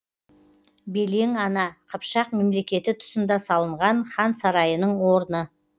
белең ана қыпшақ мемлекеті тұсында салынған хан сарайының орны